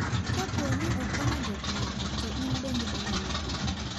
Kapooni okonyo jookmoko to in bende onyalo konyi.